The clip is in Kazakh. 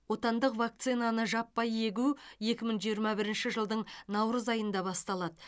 отандық вакцинаны жаппай егу екі мың жиырма бірінші жылдың наурыз айында басталады